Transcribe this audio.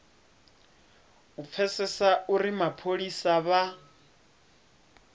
u pfesesa uri mapholisa vha